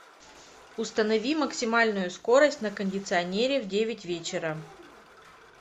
установи максимальную скорость на кондиционере в девять вечера